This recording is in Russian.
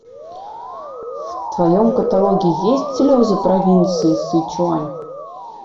в твоем каталоге есть слезы провинции сычуань